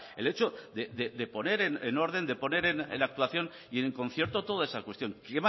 el hecho de poner en orden de poner en la actuación y en el concierto toda esa cuestión que